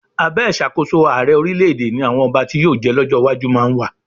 Abẹ́ ìṣàkóso ààrẹ orílẹ̀-èdè ni àwọn ọba tí yóò jẹ́ lọ́jọ́ iwájú máa wà.